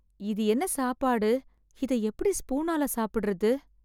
இது என்ன சாப்பாடு? இத எப்படி ஸ்பூனால சாப்பிடறது?